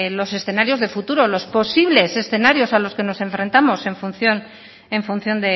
los escenarios de futuro los posibles escenarios a los que nos enfrentamos en función